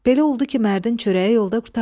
Belə oldu ki, mərdin çörəyi yolda qurtardı.